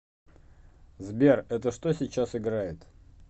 сбер это что сейчас играет